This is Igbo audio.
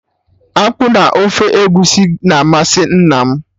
Akpụ na ofe Egusi na-amasị nna m